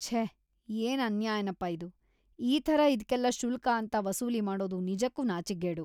ಛೇ ಏನ್ ಅನ್ಯಾಯನಪ್ಪ ಇದು.. ಈ ಥರ ಇದ್ಕೆಲ್ಲ ಶುಲ್ಕ ಅಂತ ವಸೂಲಿ ಮಾಡೋದು ನಿಜಕ್ಕೂ ನಾಚಿಕ್ಗೇಡು.